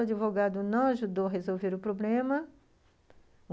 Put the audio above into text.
O advogado não ajudou a resolver o problema.